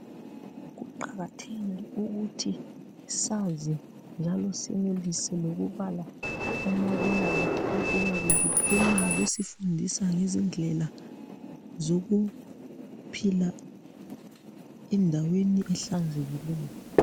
Kuqakathekile ukuthi sazi njalo senelise lokubala kumabonakude okuyabe kuphuma kusifundisa ngezindlela zokuphila endaweni ehlanzekileyo.